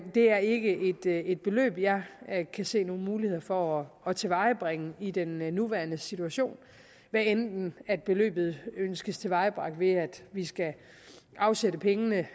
det er ikke et beløb jeg kan se nogle muligheder for at tilvejebringe i den nuværende situation hvad enten beløbet ønskes tilvejebragt ved at vi skal afsætte pengene